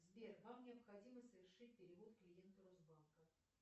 сбер вам необходимо совершить перевод клиенту росбанка